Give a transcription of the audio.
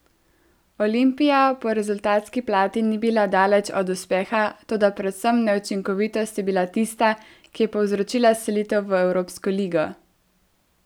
Olimpija po rezultatski plati ni bila daleč od uspeha, toda predvsem neučinkovitost je bila tista, ki je povzročila selitev v evropsko ligo.